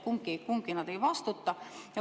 Kumbki nad ei vastuta.